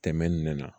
Tɛmɛnen na